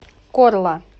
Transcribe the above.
корла